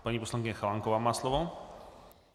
Paní poslankyně Chalánková má slovo.